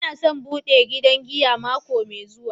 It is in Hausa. N'na son bude gidan giya mako mai zuwa.